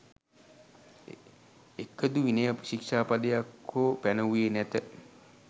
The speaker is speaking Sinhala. එකදු විනය ශීක්ෂා පදයක් හෝ පැනවුයේ නැත.